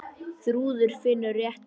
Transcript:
Þrúður finnur réttu orðin.